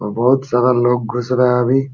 अ बहुत सारा लोग घुस रहा अभी।